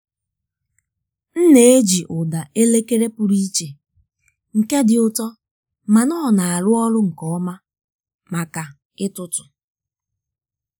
m na-eji ụda elekere pụrụ iche nke dị ụtọ mana ọ na-arụ ọrụ nke ọma maka ịtụtụ.